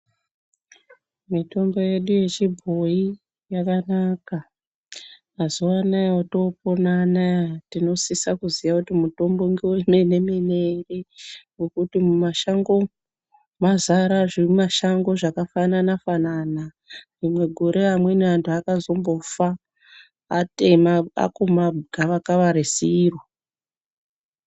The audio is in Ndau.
Mitombo yedu yechibhoi yakanaka mazuva anaya atopona anaya tinosisa kuziya kuti mutombo ngeve mene-mene ere. Nokuti mumashango umu mazara zvimashango zvakafanana- fanana rimwe gore amweni antu akazombofa atema akuma gavakava risiro.